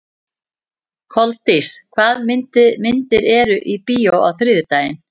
Koldís, hvaða myndir eru í bíó á þriðjudaginn?